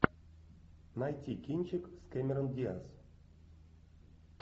найти кинчик с кэмерон диаз